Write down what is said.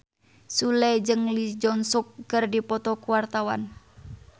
Sule jeung Lee Jeong Suk keur dipoto ku wartawan